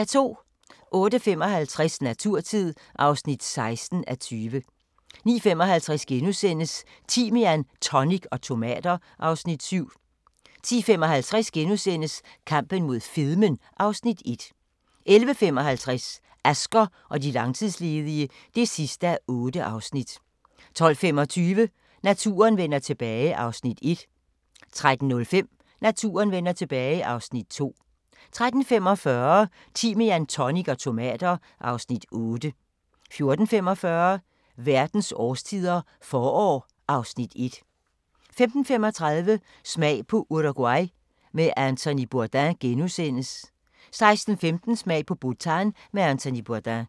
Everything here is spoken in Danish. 08:55: Naturtid (16:20) 09:55: Timian, tonic og tomater (Afs. 7)* 10:55: Kampen mod fedmen (Afs. 1)* 11:55: Asger og de langtidsledige (8:8) 12:25: Naturen vender tilbage (Afs. 1) 13:05: Naturen vender tilbage (Afs. 2) 13:45: Timian, tonic og tomater (Afs. 8) 14:45: Verdens årstider – forår (Afs. 1) 15:35: Smag på Uruguay med Anthony Bourdain * 16:15: Smag på Bhutan med Anthony Bourdain